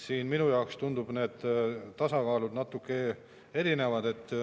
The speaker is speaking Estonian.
Minu jaoks tunduvad natuke erinevad.